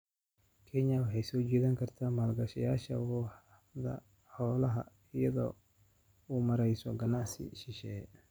Kenya waxay soo jiidan kartaa maalgashadayaasha waaxda xoolaha iyadoo u mareysa ganacsi shisheeye.